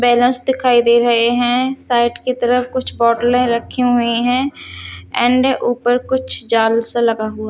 Balance दिखाई दे रहे है साइड की तरफ कुछ बोटले रखी हुई है। एंड ऊपर कुछ जाल सा लगा हुआ--